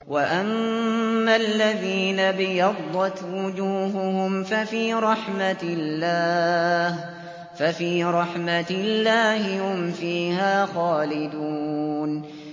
وَأَمَّا الَّذِينَ ابْيَضَّتْ وُجُوهُهُمْ فَفِي رَحْمَةِ اللَّهِ هُمْ فِيهَا خَالِدُونَ